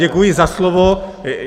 Děkuji za slovo.